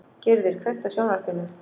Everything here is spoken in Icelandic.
Gyrðir, kveiktu á sjónvarpinu.